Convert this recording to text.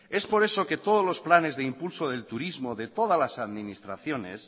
es por eso que todos los planes de impulso del turismo de todas las administraciones